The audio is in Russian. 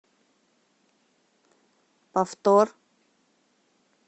повтор